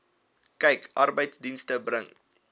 kyk arbeidsdienste bring